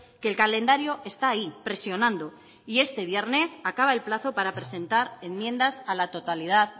que el calendario está ahí presionando y este viernes acaba el plazo para presentar enmiendas a la totalidad